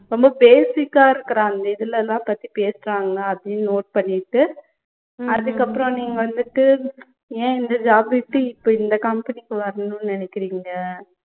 ரொம்ப basic ஆ இருக்குற அந்த இதுல எல்லாம் பத்தி பேசுறாங்களா அதையும் note பண்ணிட்டு அதுக்கு அப்பறம் நீங்க வந்துட்டு ஏன் இந்த job விட்டு இப்போ இந்த company க்கு வரணும்னு நினைக்கிறிங்க